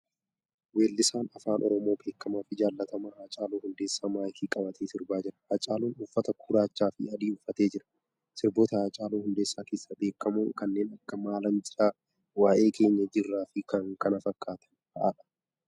Weellisaan Afaan Oromoo beekamaa fi jaallatamaan Haacaaluu Hundeesaaa maayikii qabatee sirbaa jira. Haacaaluun uffata gurraachaa fi adii uffatee jira. Sirboota Haacaaluu Hundeessaa keessaa beekamoon kanneen akka maalan jira, waa'ee keenya, jirraa fi kan kana fakkaatan fa'aadha.